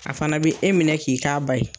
A fana b'i e minɛ k'i k'a ba ye